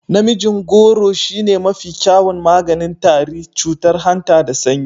Namijin gworo shine mafi kyawun maganin tari, cutar hanta da sanyi.